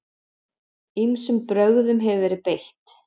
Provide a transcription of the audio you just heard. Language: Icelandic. Ýmsum brögðum hefur verið beitt.